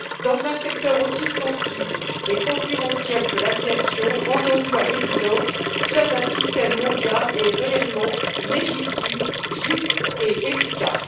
Dans un secteur aussi sensible et concurrentiel que l'aviation, rendons nous à l'évidence seul un système mondial est réellement légitime, juste et efficace.